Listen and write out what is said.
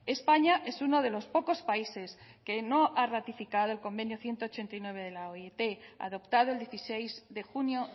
españa es uno de los pocos países que no ha ratificado el convenio ciento ochenta y nueve de la oit adoptado el dieciséis de junio